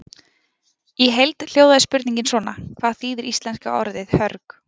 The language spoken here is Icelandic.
Í heild hljóðaði spurningin svona: Hvað þýðir íslenska orðið hörg?